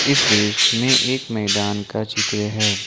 इस दृश्य में एक मैदान का चित्र है।